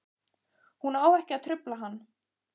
Hún á ekki að trufla hann.